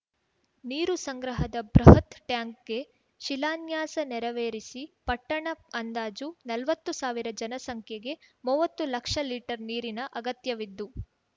ನೀರು ಸಂಗ್ರಹದ ಬೃಹತ್‌ ಟ್ಯಾಂಕ್‌ಗೆ ಶಿಲಾನ್ಯಾಸ ನೆರವೇರಿಸಿ ಪಟ್ಟಣ ಅಂದಾಜು ನಲ್ವತ್ತು ಸಾವಿರ ಜನಸಂಖ್ಯೆಗೆ ಮುವತ್ತು ಲಕ್ಷ ಲೀಟರ್ ನೀರಿನ ಅಗತ್ಯವಿತ್ತು